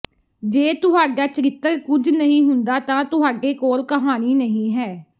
ਜੇ ਤੁਹਾਡਾ ਚਰਿੱਤਰ ਕੁਝ ਨਹੀਂ ਚਾਹੁੰਦਾ ਤਾਂ ਤੁਹਾਡੇ ਕੋਲ ਕਹਾਣੀ ਨਹੀਂ ਹੈ